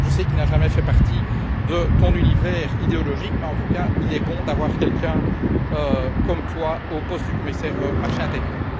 passé. Je sais qu'il n'a jamais fait partie de ton univers, mais en tout cas, il est bon d'avoir quelqu'un comme toi au poste du commissaire au marché intérieur.